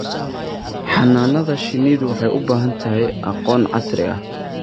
Xannaanada shinnidu waxay u baahan tahay aqoon casri ah.